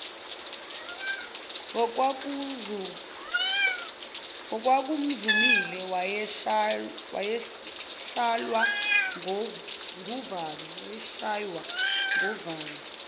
ngokwakumzumile wayeshaywa nguvalo